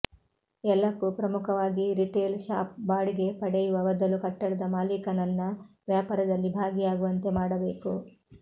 ಎಲ್ಲಕೂ ಪ್ರಮುಖವಾಗಿ retail shop ಬಾಡಿಗೆ ಪಡೆಯುವ ಬದಲು ಕಟ್ಟಡದ ಮಾಲೀಕನನ್ನ ವ್ಯಾಪಾರದಲ್ಲಿ ಭಾಗಿಯಾಗುವಂತೆ ಮಾಡಬೇಕು